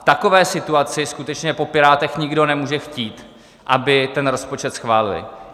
V takové situaci skutečně po Pirátech nikdo nemůže chtít, aby ten rozpočet schválili.